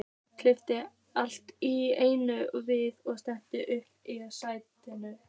Kippist allt í einu við og sest upp í sætinu.